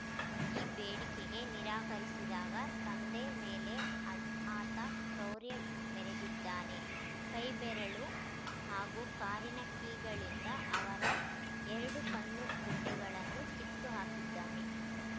ಈ ಬೇಡಿಕೆಗೆ ನಿರಾಕರಿಸಿದಾಗ ತಂದೆ ಮೇಲೆ ಆ ಆತ ಕ್ರೌರ್ಯ ಮೆರೆದಿದ್ದಾನೆ ಕೈ ಬೆರಳು ಹಾಗೂ ಕಾರಿನ ಕೀಗಳಿಂದ ಅವರ ಎರಡು ಕಣ್ಣು ಗುಡ್ಡೆಗಳನ್ನು ಕಿತ್ತು ಹಾಕಿದ್ದಾನೆ